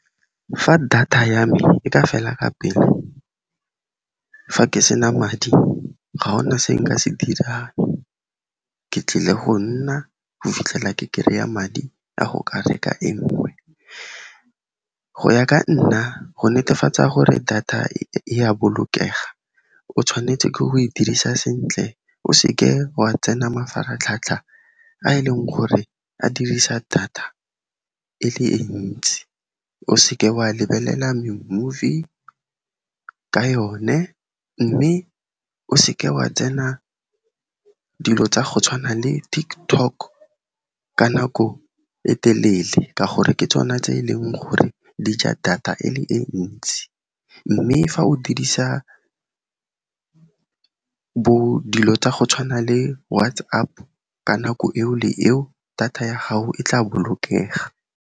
Fa data ya me e ka fela ka pele fa ke sena madi, ga gona se nka se dirang. Ke tlile go nna go fitlhela ke kereya madi a go ka reka e nngwe. Go ya ka nna, go netefatsa gore data e a bolokega, o tshwanetse ke go e dirisa sentle, o seke wa tsena mafaratlhatlha a e leng gore a dirisa data e le e ntsi, o seke wa lebelela me-movie ka yone, mme o seke wa tsena dilo tsa go tshwana le TikTok ka nako e telele ka gore ke tsona tse e leng gore dija data e le e ntsi, mme fa o dirisa bo dilo tsa go tshwana le WhatsApp ka nako eo le eo, data ya gago e tla bolokega.